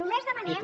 només demanem